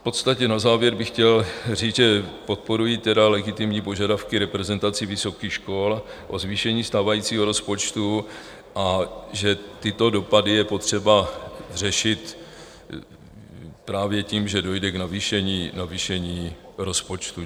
V podstatě na závěr bych chtěl říct, že podporuji legitimní požadavky reprezentací vysokých škol na zvýšení stávajícího rozpočtu a že tyto dopady je potřeba řešit právě tím, že dojde k navýšení rozpočtu.